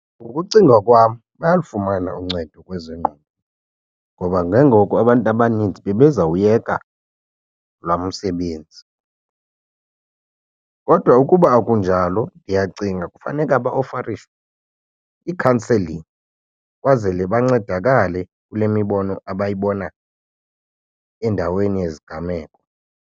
Ngokucinga kwam bayalufumana uncedo kwezengqondo ngoba ke ngoku abantu abaninzi bebezawuyeka lowa msebenzi. Kodwa ukuba akunjalo ndiyacinga kufaneka ba ofarishwe ii-counselling kwazele bancedakale kule mibono abayibona endaweni yezigameko.